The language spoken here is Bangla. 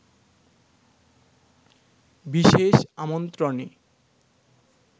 বিশেষ আমন্ত্রণে